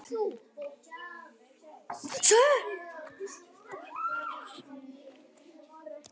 Mér þykir þó fyrri tilgátan sennilegri.